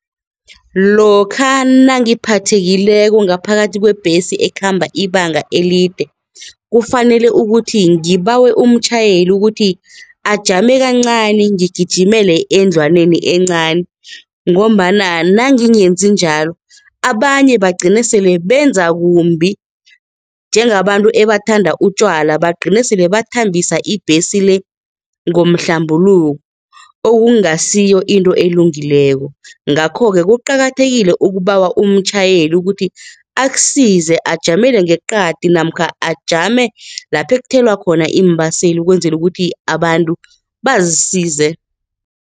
Lokha nangiphathekileko ngaphakathi kwebhesi ekhamba ibanga elide kufanele ukuthi ngibawe umtjhayeli ukuthi ajame kancani ngigijimele endlwaneni encani ngombana nangingenzi njalo, abanye bagcine sele benzakumbi njengabantu ebathanda utjwala bagcine sele bathumbisa ibhesi le ngomhlambuluko okungasiyo into elungileko ngakho-ke, kuqakathekile ukubawa umtjhayeli ukuthi akusize ajamele ngeqadi namkha ajame lapha ekuthelwa khona iimbaseli ukwenzela ukuthi abantu bazisize.